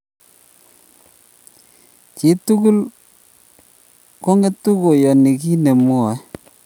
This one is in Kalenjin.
Chii tugul angetu koiyoni kiy nemwae